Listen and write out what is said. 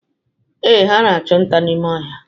Ee, ha na-achụ nta n'ime ọhịa.